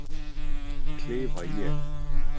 klifa ég.